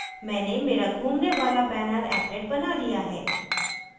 मैंने मेरा घूमने वाला बैनरapplet बना लिया है